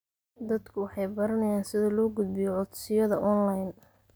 Dadku waxay baranayaan sida loo gudbiyo codsiyada onlayn.